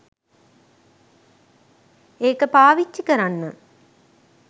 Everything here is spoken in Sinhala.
ඒක පාවිච්චි කරන්න